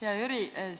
Hea Jüri!